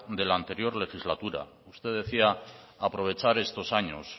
de la anterior legislatura usted decía aprovechar estos años